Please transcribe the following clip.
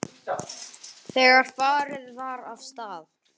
Þegar farið var af stað.